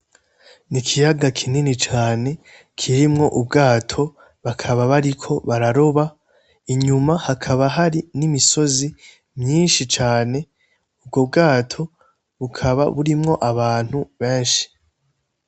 N'ikiyaga kinini cane kirimwo ubwato bakaba bariko bararoba , inyuma hakaba har n'imisozi myinshi cane, ubwo bwato bikaba birimwo abantu benshi.